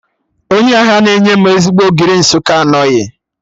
Onye ahịa na-enye m ezigbo Ogiri Nsụka anọghị